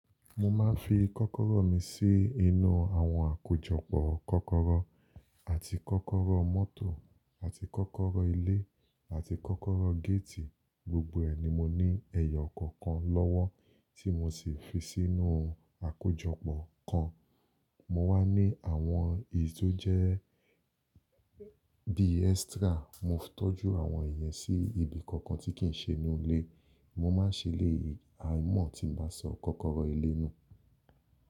Mo máa ń fi kọ́kọ́rọ́ mi sí inú àwọn àkójọpọ̀ kọ́kọ́rọ́ àti kọ́kọ́rọ́ mọ́tò àti kọ́kọ́rọ́ ilé àti kọ́kọ́rọ́ géètì, gbogbo ẹ̀ ni mo ní ẹyọ kọ̀ọ̀kan lọ́wọ́ tí mo sì fi sínú àkójọpọ̀ kan. Mo wá ní àwọn èyí tó jẹ́ bí extra, mo tọ́jú àwọn ìyẹn sí ibi kankan tí kì í ṣe nínú ilé. Mo máa ń ṣe lé àìmọ̀ tí ń ba sọ kọ́kọ́rọ́ ilé nù.